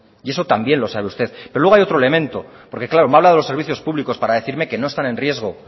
y esto también lo sabe usted pero luego hay otro elemento porque claro me habla de los serviciospúblicos para decirme que no están en riesgo